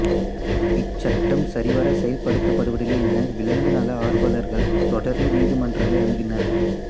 இச்சட்டம் சரிவர செயல்படுத்தப்படுவதில்லை என விலங்கு நல ஆர்வலர்கள் தொடர்ந்து நீதிமன்றங்களை அணுகினர்